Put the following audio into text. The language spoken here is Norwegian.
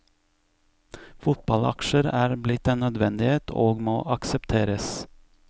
Fotballaksjer er blitt en nødvendighet og må aksepteres.